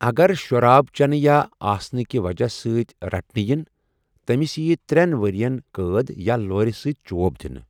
اگر شراب چَنہٕ یا آسنہٕ کہِ وجہہ سۭتۍ رٹنہٕ یِنۍ، تٔمِس یِیہِ ترٛٮ۪ن ؤرۍ یَن قٲد یا لورِ سۭتۍ چۄب دِنہٕ۔